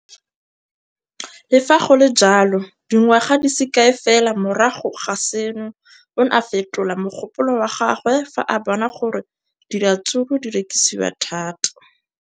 Le fa go le jalo, dingwaga di se kae fela morago ga seno, o ne a fetola mogopolo wa gagwe fa a bona gore diratsuru di rekisiwa thata.